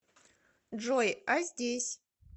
джой а здесь